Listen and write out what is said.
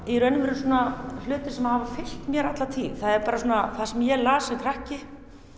í raun og veru svona hlutir sem hafa fylgt mér alla tíð það er bara svona það sem ég las sem krakki